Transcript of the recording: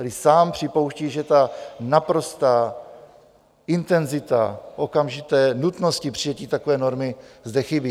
Tedy sám připouští, že ta naprostá intenzita okamžité nutnosti přijetí takové normy zde chybí.